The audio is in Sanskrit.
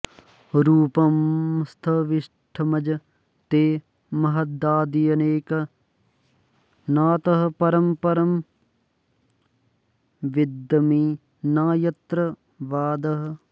रूपं स्थविष्ठमज ते महदाद्यनेकं नातः परं परम वेद्मि न यत्र वादः